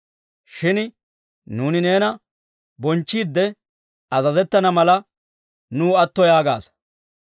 Shin nuuni neena bonchchiidde azazettana mala, nuw atto yaagaasa.